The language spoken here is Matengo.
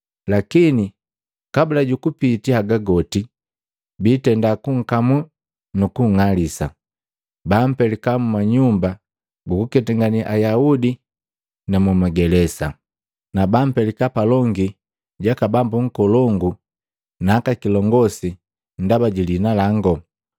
Lakini kabula jukupiti haga goti, biitenda kunkamuu nu kung'alisa. Bampelika mma nyumba guku ketangane Ayaudi na muma gelesa, na bampelika palongi jaka bambu akolongu na aka kilongosi ndaba ji liina lango,